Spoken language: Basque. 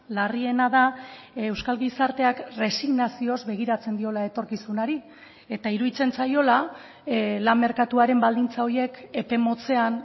larriena da euskal gizarteak resignazioz begiratzen diola etorkizunari eta iruditzen zaiola lan merkatuaren baldintza horiek epe motzean